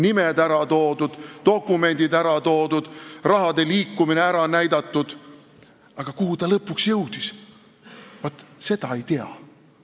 Nimed on ära toodud, dokumendid on ära toodud, raha liikumine on ära näidatud, aga kuhu see lõpuks jõudis, vaat seda ei tea.